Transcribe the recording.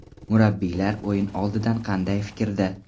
Murabbiylar o‘yin oldidan qanday fikrda?